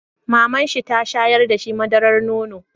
Mamanshi ta shayar da shi madarar nono.